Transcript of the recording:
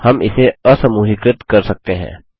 हम इसे असमूहीकृत कर सकते हैं